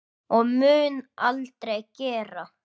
Og mun aldrei gera.